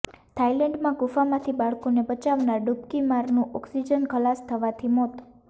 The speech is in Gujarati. થાઇલેન્ડમાં ગુફામાંથી બાળકોને બચાવનાર ડૂબકીમારનું ઓક્સિજન ખલાસ થવાથી મોત